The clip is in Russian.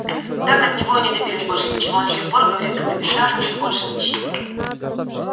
так от него и не добились больше ничего он с тех пор говорит как-то бессвязно всё больше мычит